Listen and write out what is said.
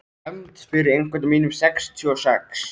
Hefnd fyrir einhvern af mínum sextíu og sex.